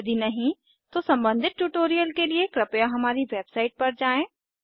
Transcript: यदि नहीं तो सम्बंधित ट्यूटोरियल के लिए कृपया हमारी वेबसाइट पर जाएँ